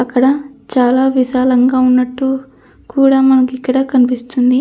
అక్కడ చాలా విశాలంగా ఉన్నట్టు కూడా మనకు ఇక్కడ కనిపిస్తుంది.